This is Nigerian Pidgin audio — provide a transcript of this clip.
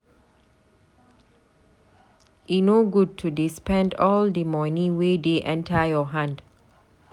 E no good to dey spend all di moni wey dey enta your hand.